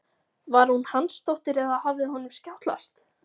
Var hún Hansdóttir eða hafði honum skjátlast?